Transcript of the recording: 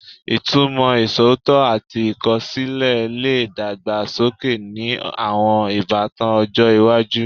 Ìtumọ̀ iṣootọ ati ikosile le dàgbà sókè ni àwọn ìbátan ọjọ́ iwájú